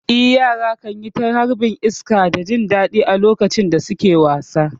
Eh, yara kan yi ta harbin iska da jin daɗi a lokacin da suke wasa.